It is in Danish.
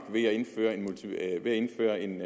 ved at indføre en